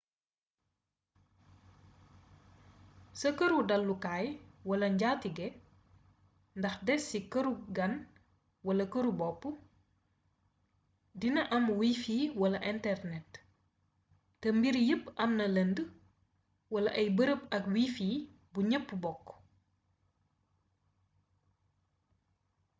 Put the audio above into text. sa këru dallukaay wala njaatigé ndax dés ci këruk gan wala këru bopp dina am wifi wala internet té mbir yepp amna lënd wala ay bërëb ak wifi bu ñepp bokk